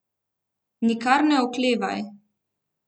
Nikar ne oklevaj!